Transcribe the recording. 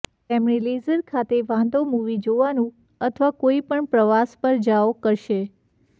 તેમણે લેઝર ખાતે વાંધો મૂવી જોવાનું અથવા કોઈપણ પ્રવાસ પર જાઓ કરશે